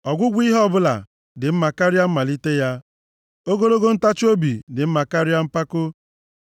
Ọgwụgwụ ihe ọbụla dị mma karịa mmalite ya! Ogologo ntachiobi dị mma karịa mpako!